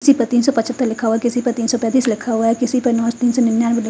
किसी पे तीन सौ पछत्तर किसी पे तीन सौ पेतीस लिखा हुआ है किसी पे नो तीन सौ निन्यानवे ली--